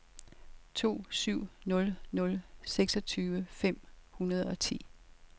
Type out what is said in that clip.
to syv nul nul seksogtyve fem hundrede og ti